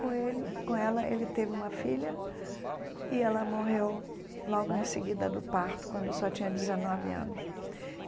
Com ele com ela, ele teve uma filha, e ela morreu logo em seguida do parto, quando só tinha dezenove anos.